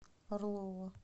орлова